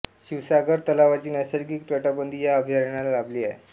शिवसागर तलावाची नैसर्गिक तटबंदी या अभयारण्याला लाभली आहे